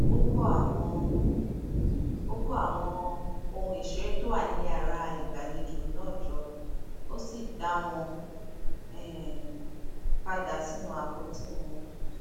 ó kó àwọn ó kó àwọn ohun ìṣeré tó wà ní yàrá ìgbàlejò náà jọ ó sì dá wọn um padà sínú àpótí wọn